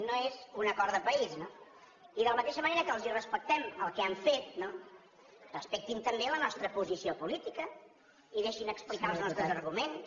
no és un acord de país no i de la mateixa que els respectem el que han fet respectin també la nostra posició política i deixin explicar els nostres arguments